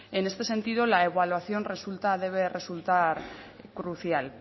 en este sentido la evaluación debe resultar crucial